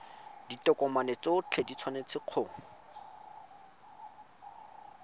ditokomane tsotlhe di tshwanetse go